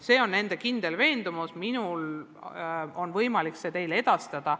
See on nende kindel veendumus ja minul on võimalik see teile edastada.